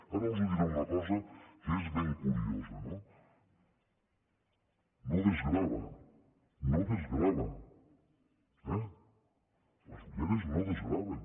ara els diré una cosa que és ben curiosa no no desgrava no desgrava eh les ulleres no desgraven